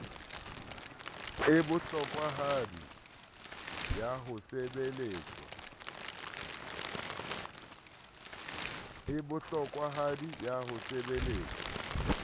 e bohlokwahadi ya ho sebeletswa